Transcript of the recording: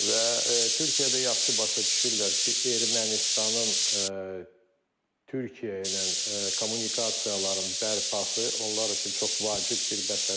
Və Türkiyə də yaxşı başa düşürlər ki, Ermənistanın Türkiyə ilə kommunikasiyaların bərpası onlar üçün çox vacib bir məsələdir.